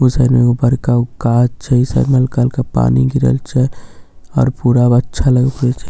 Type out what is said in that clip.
ऊ साइड में ए गो बड़का गाछ छै ई साइड मे कल का पानी गिरल छै आओर पुरब अच्छा लगबए छे